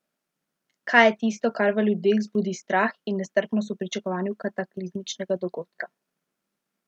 Kaj je tisto, kar v ljudeh vzbudi strah in nestrpnost v pričakovanju kataklizmičnega dogodka?